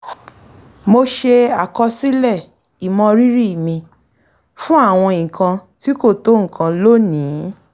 mo ṣe àkọsílẹ̀ ìmọrírì mi fún àwọn nǹkan tí kò tó nǹkan lónìí